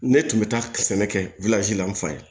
Ne tun bɛ taa ka sɛnɛ kɛ la n fa ye